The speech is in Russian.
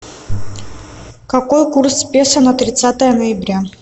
какой курс песо на тридцатое ноября